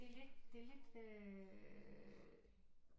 Det er lidt det er lidt øh